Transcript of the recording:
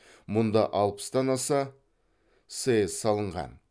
мұнда алпыстан аса сэс салынған